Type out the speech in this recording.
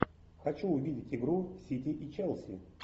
хочу увидеть игру сити и челси